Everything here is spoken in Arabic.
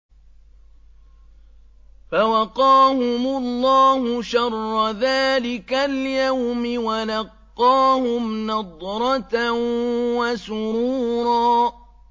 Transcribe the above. فَوَقَاهُمُ اللَّهُ شَرَّ ذَٰلِكَ الْيَوْمِ وَلَقَّاهُمْ نَضْرَةً وَسُرُورًا